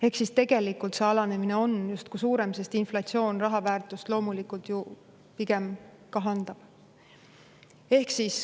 Ehk siis tegelikult see alanemine on justkui suurem, sest inflatsioon raha väärtust loomulikult ju pigem kahandab.